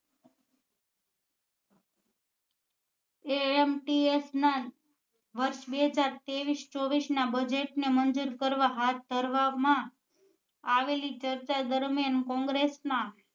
Amts ના વર્ષ બે હજાર ત્રેવીસ ચોવીસ ના budget ને મંજુર કરવા હાથ ધરવા માં આવેલી ચર્ચા દરમિયાન કોંગ્રેસ માં